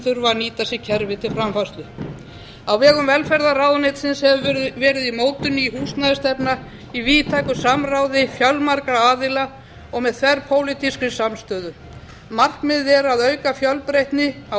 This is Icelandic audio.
þurfa að nýta sér kerfið til framfærslu á vegum velferðarráðuneytisins hefur verið í mótun ný húsnæðisstefna í víðtæku samráði fjölmargra aðila og með þverpólitískri samstöðu markmiðið er að auka fjölbreytni á